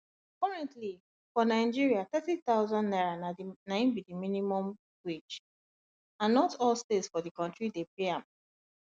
currently for nigeria 30000 naira na im be di minimum wage and not all states for di kontri dey pay am